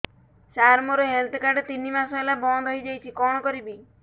ସାର ମୋର health card ତିନି ମାସ ହେଲା ବନ୍ଦ ହେଇଯାଇଛି କଣ କରିବି